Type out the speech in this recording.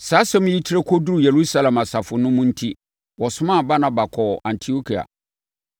Saa asɛm yi trɛ kɔduruu Yerusalem asafo no mu enti, wɔsomaa Barnaba kɔɔ Antiokia.